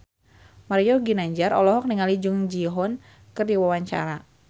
Mario Ginanjar olohok ningali Jung Ji Hoon keur diwawancara